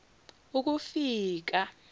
ukufika